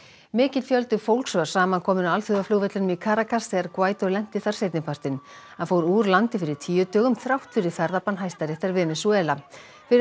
mikill fjöldi fólks var samankominn á alþjóðaflugvellinum í Caracas þegar Guaidó lenti þar seinnipartinn hann fór úr landi fyrir tíu dögum þrátt fyrir ferðabann Venesúela fyrir